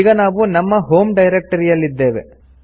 ಈಗ ನಾವು ನಮ್ಮ ಹೋಂ ಡೈರೆಕ್ಟರಿಯಲ್ಲಿ ಇದ್ದೇವೆ